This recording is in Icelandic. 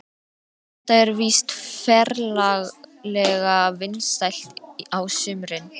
Þetta er víst ferlega vinsælt á sumrin.